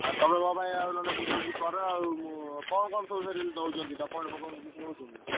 ଆଉ ତମେ ନହେଲେ ମୋ ପାଇଁ ବୁଝା ବୁଝି କର ଆଉ କଣ କଣ ସବୁ document ଫକୁମେଣ୍ଟ କିଛି ନଉଛନ୍ତି?